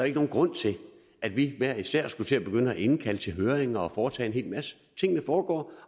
ikke nogen grund til at vi hver især skulle til at begynde at indkalde til høring og foretage en hel masse tingene foregår